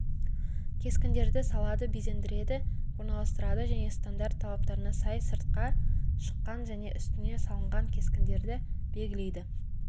кескіндерді салады безендіреді орналастырады және стандарт талаптарына сай сыртқа шыққан және үстіне салынған кескіндерді белгілейді